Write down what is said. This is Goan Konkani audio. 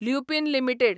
ल्युपीन लिमिटेड